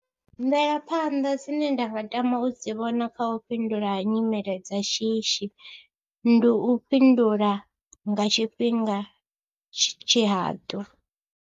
Mvelaphanḓa dzine nda nga tama u dzi vhona kha u fhindula kha nyimele dza shishi, ndi u fhindula nga tshifhinga tshihaḓu.